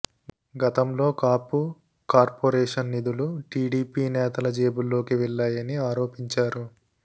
గతంలో కాపు కార్పొరేషన్ నిధులు టీడీపీ నేతల జేబుల్లోకి వెళ్లాయని ఆరోపించారు